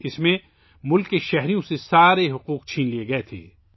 اس میں ملک کے شہریوں سے تمام حقوق چھین لیے گئے تھے